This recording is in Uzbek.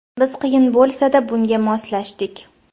Biz qiyin bo‘lsa-da, bunga moslashdik.